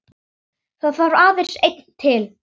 Það þarf aðeins einn til.